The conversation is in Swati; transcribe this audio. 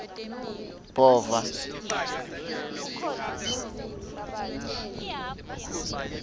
bhova